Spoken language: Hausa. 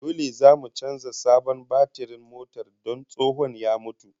Dole zamu canza sabon batirin motar don tsohon ya mutu